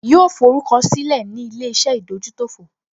Yóò forúkọ sílẹ̀ ní ilé-iṣẹ́ ìdójútòfò